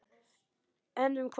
En um hvað?